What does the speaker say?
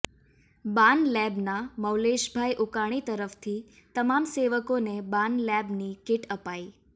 બાન લેબના મૌલેશભાઈ ઉકાણી તરફથી તમામ સેવકોને બાન લેબની કિટ અપાઈ